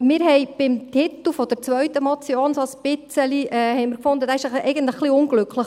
Wir fanden den Titel der zweiten Motion etwas unglücklich: